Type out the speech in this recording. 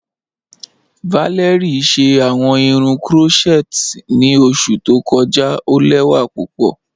Valérie ṣẹ awọn irun crotchet ni oṣù tó kọja, o lẹwa pupọ.